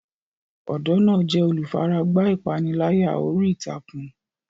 Ọ̀dọ́ náà jẹ́ olùfaragbá ìpániláyà orí ìtàkùn.